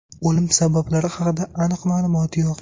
O‘lim sabablari haqida aniq ma’lumot yo‘q.